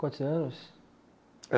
Quantos anos?